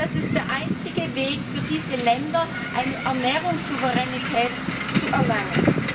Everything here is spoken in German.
Das ist der einzige Weg für diese Länder, eine Ernährungssouveränität zu erlangen.